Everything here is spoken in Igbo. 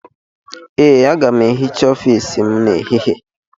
Ee, aga m ehicha ọfiisi m n'ehihie.